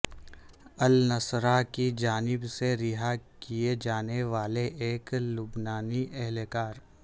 النصرہ کی جانب سے رہا کیے جانے والے ایک لبنانی اہلکار